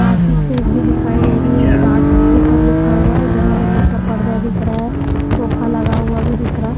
कांच की खिड़की दिखाई दे रही है स्टार्ट्स ऊपर लिखा हुआ इधर हरे रंग का पर्दा दिख रहा है सोफा लगा हुआ भी दिख रहा--